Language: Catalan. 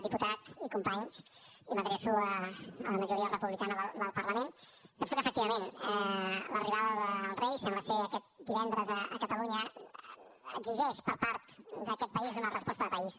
diputat i companys i m’adreço a la majoria republicana del parlament penso que efectivament l’arribada del rei sembla ser aquest divendres a catalunya exigeix per part d’aquest país una resposta de país